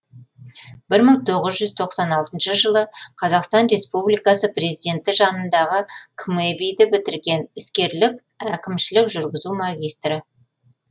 бір мың тоғыз жүз тоқсан алтыншы жылы қазақстан республикасы президенті жанындағы қмэби ді бітірген іскерлік әкімшілік жүргізу магистрі